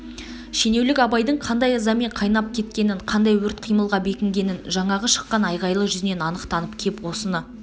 шенеулік абайдың қандай ызамен қайнап кеткенін қандай өрт қимылға бекінгенін жаңағы шыққан айғайлы жүзінен анық танып кеп осыны